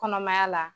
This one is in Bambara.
Kɔnɔmaya la